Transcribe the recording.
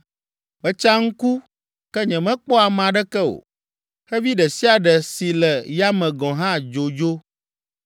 Metsa ŋku ke nyemekpɔ ame aɖeke o. Xevi ɖe sia ɖe si le yame gɔ̃ hã dzo dzo.